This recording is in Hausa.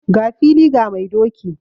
Ga fili ga mai doki.